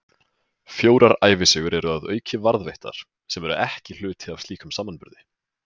Fjórar ævisögur eru að auki varðveittar, sem eru ekki hluti af slíkum samanburði.